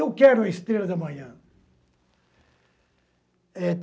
Eu quero a estrela da manhã.